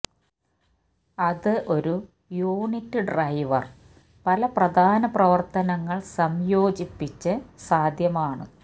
അത് ഒരു unit driver പല പ്രധാന പ്രവർത്തനങ്ങൾ സംയോജിപ്പിച്ച് സാധ്യമാണ്